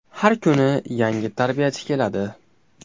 Har kuni yangi tarbiyachi keladi.